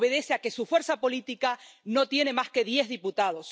Obedece a que su fuerza política no tiene más que diez diputados